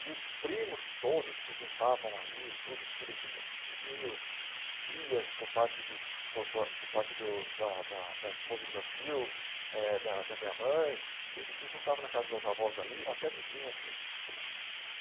E os primos todos se juntavam ali, todos os filhos dos meus ti tios, tias por parte de por por por parte do da da da esposa do meu tio, eh da da minha mãe, eh se juntavam na casa dos meus avós ali, até vizinhos às vezes.